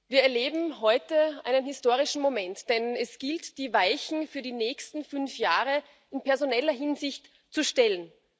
Wir erleben heute einen historischen Moment, denn es gilt, die Weichen für die nächsten fünf Jahre in personeller Hinsicht zu stellen.